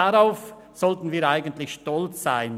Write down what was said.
Darauf sollten wir eigentlich stolz sein: